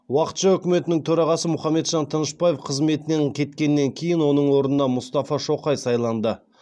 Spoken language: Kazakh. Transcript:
уақытша үкіметінің төрағасы мұаммеджан тынышбаев қызметінен кеткеннен кейін оның орнына мұстафа шоқай сайланды